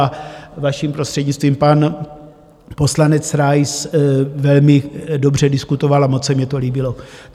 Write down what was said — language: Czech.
A - vaším prostřednictvím - pan poslanec Rais velmi dobře diskutoval a moc se mně to líbilo.